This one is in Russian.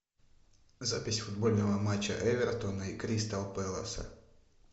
запись футбольного матча эвертона и кристал пэласа